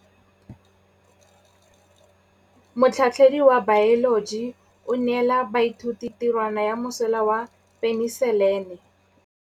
Motlhatlhaledi wa baeloji o neela baithuti tirwana ya mosola wa peniselene.